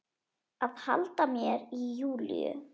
Að halda mér í Júlíu.